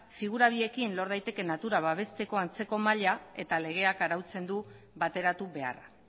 figura horiekin lor daitekeen natura babesteko antzeko maila eta legeak arautzen du bateratu beharra